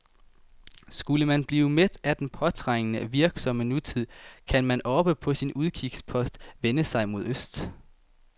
Skulle man blive mæt af den påtrængende, virksomme nutid, kan man oppe på sin udkigspost vende sig mod øst.